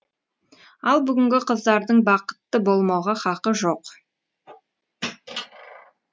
ал бүгінгі қыздардың бақытты болмауға хақы жоқ